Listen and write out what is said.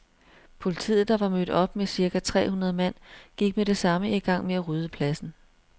Politiet, der var mødt op med cirka tre hundrede mand, gik med det samme i gang med at rydde pladsen.